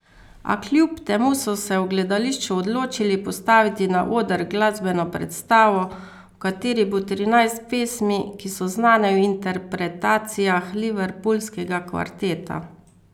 A kljub temu so se v gledališču odločili postaviti na oder glasbeno predstavo, v kateri bo trinajst pesmi, ki so znane v interpretacijah liverpoolskega kvarteta.